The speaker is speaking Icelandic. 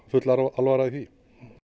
full alvara í því